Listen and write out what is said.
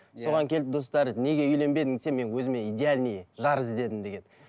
соған келіп достары неге үйленбедің десе мен өзіме идеальный жар іздедім деген